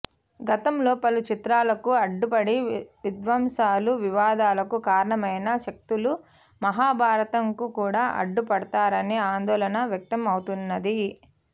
గతంలో పలుచిత్రాలకు అడ్డుపడి విధ్వంసాలు వివాదాలకు కారణమైన శక్తులు మహాభారతం కు కూడా అడ్డుపడతారనే ఆందోళన వ్యక్తం అవుతున్నది